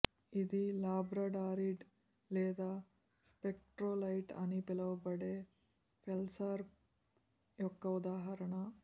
ఇది లాబ్రడారిట్ లేదా స్పెక్ట్రోలైట్ అని పిలువబడే ఫెల్స్పార్ యొక్క ఉదాహరణ